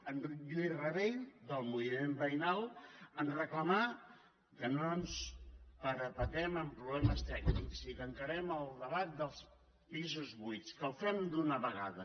en lluís rabell del moviment veïnal ens reclamà que no ens parapetem en problemes tècnics i que encarem el debat dels pisos buits i que ho fem d’una vegada